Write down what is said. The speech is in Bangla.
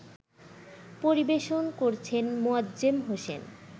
পরিবেশন করছেন মোয়াজ্জেম হোসেন